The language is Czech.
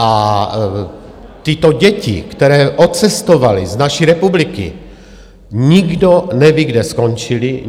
A tyto děti, které odcestovaly z naší republiky, nikdo neví, kde skončily.